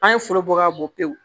An ye foro bɔ ka bɔn pewu